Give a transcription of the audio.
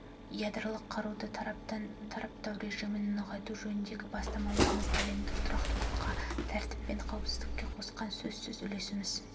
ядролық қаруды таратпау режімін нығайту жөніндегі бастамаларымыз әлемдік тұрақтылыққа тәртіп пен қауіпсіздікке қосқан сөзсіз үлесіміз